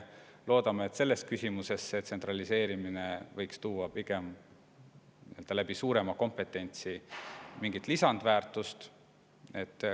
Loodame, et selles küsimuses tsentraliseerimine toob tänu suuremale kompetentsile mingit lisandväärtust.